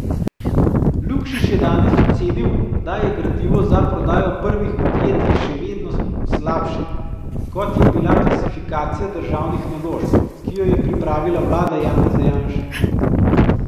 Lukšič je danes ocenil, da je gradivo za prodajo prvih podjetij še vedno slabše, kot je bila klasifikacija državnih naložb, ki jo je pripravila vlada Janeza Janše.